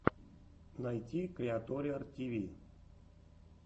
найти криаториар тиви